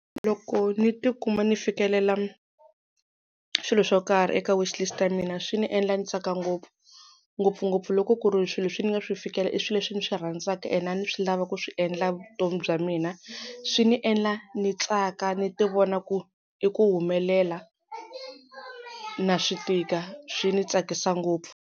Loko ni tikuma ni fikelela swilo swo karhi eka wish list ya mina swi ni endla ni tsaka ngopfu, ngopfungopfu loko ku ri swilo leswi ni nga swi fikelela i swilo leswi ni swi rhandzaka, and a ni swi lava ku swi endla vutomi bya mina. Swi ni endla ni tsaka ni ti vona ku i ku humelela na swi tika swi ni tsakisa ngopfu.